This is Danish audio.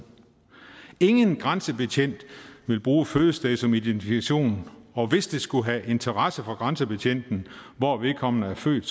ingen grænsebetjent vil bruge fødested som identifikation og hvis det skulle have interesse for grænsebetjenten hvor vedkommende er født